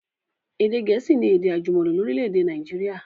Èdè gẹ̀ẹ̀síì ni èdè àjùmọ̀lò lórílẹ̀dè Naijiria